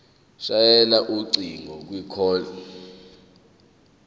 shayela ucingo kwicall